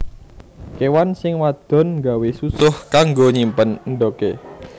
Kéwan sing wadon nggawé susuh kanggo nyimpen endhogé